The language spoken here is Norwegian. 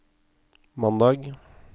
mandag